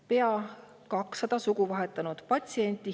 Pea 200 sugu vahetanud patsienti.